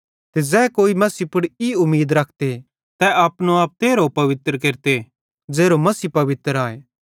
ते ज़ै कोई भी मसीह पुड़ ई उमीद रखते तै अपनो आप तेरहो पवित्र केरते ज़ेरो मसीह पवित्र आए